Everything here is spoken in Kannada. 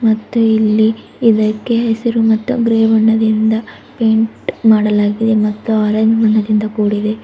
ಮತ್ತೆ ಇಲ್ಲಿ ಇದಕ್ಕೆ ಹೆಸರು ಮತ್ತು ಗ್ರೆ ಬಣ್ಣದಿಂದ ಪೈಂಟ್ ಮಾಡಲಾಗಿದೆ ಮತ್ತು ಆರೆಂಜ್ ಬಣ್ಣದಿಂದ ಕೂಡಿದೆ.